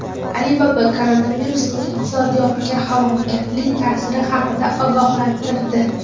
Alibaba koronavirusning iqtisodiyotga halokatli ta’siri haqida ogohlantirdi.